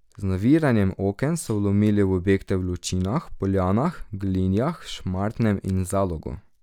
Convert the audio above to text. Z naviranjem oken so vlomili v objekte v Lučinah, Poljanah, Glinjah, Šmartnem in Zalogu.